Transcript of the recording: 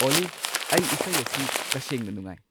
ꯑꯣꯜꯂꯤ ꯑꯩ ꯏꯁꯩ ꯑꯁꯤ ꯇꯁꯦꯡꯅ ꯅꯨꯡꯉꯥꯏ